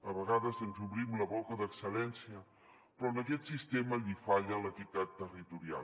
a vegades ens omplim la boca d’excel·lència però a aquest sistema li falla l’equitat territorial